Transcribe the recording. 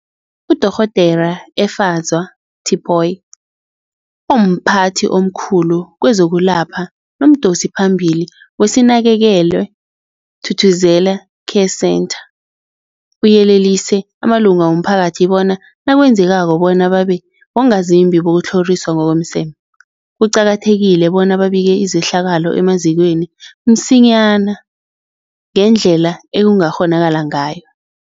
UDorh Efadzwa Tipoy, omphathi omkhulu kezokwelapha nomdosiphambili weSinakekelwe Thuthuzela Care Centre, uyelelise amalunga womphakathi bona nakwenzekako bona babe bongazimbi bokutlhoriswa ngokomseme, kuqakathekile bona babike izehlakalo emazikweni msinyana ngendlela ekungakghonakala ngayo.